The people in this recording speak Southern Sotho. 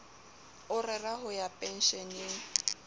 o rera ho ya pensheneng